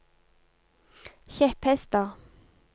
kjepphester